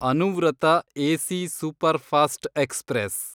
Anuvrat AC superfast express